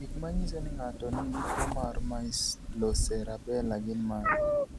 Gik manyiso ni ng'ato nigi tuwo mar Myelocerebellar gin mage?